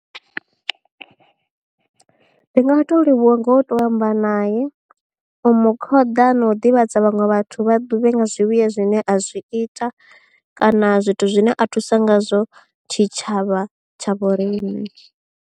Ndi nga to livhuwa ngo to amba nae u mu khoḓa na u ḓivhadza vhaṅwe vhathu vha ḓivhe nga zwivhuya zwine a zwi ita kana zwithu zwine a thusa ngazwo tshitshavha tsha vho riṋe.